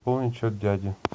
пополни счет дяди